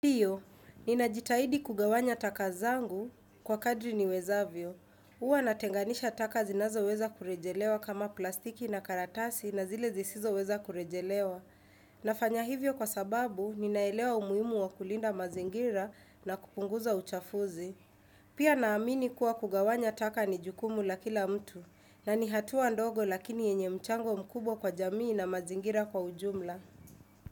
Hiyo, ninajitahidi kugawanya taka zangu kwa kadri niwezavyo. Huwa natenganisha taka zinazoweza kurejelewa kama plastiki na karatasi na zile zisizoweza kurejelewa. Nafanya hivyo kwa sababu, ninaelewa umuhimu wa kulinda mazingira na kupunguza uchafuzi. Pia naamini kuwa kugawanya taka ni jukumu la kila mtu, na ni hatua ndogo lakini yenye mchango mkubwa kwa jamii na mazingira kwa ujumla.